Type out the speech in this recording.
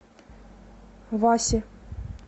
васи